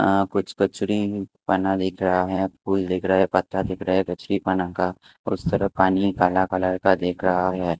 कुछ बना देख रहा हैं फूल देख रहा हैं पत्ता देख रहा हैं उस तरफ पानी काला कलर का देख रहा हैं।